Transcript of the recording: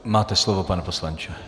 Máte slovo, pane poslanče.